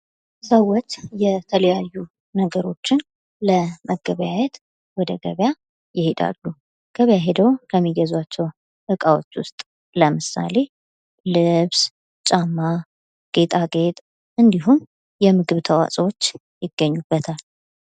ሰዎች የተለያዩ ነገሮችን ለመገበያየት ወደ ገቢያ ይሄዳሉ ። ገቢያ ሂደው ከሚገዟቸው እቃዎች ውስጥ ለምሳሌ ልብስ ጫማ ጌጣጌጥ እንዲሁም የምግብ ተዋፅኦዎች ይገኙበታል ።